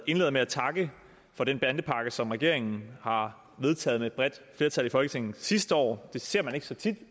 indleder med at takke for den bandepakke som regeringen har vedtaget med et bredt flertal i folketinget sidste år det ser man ikke så tit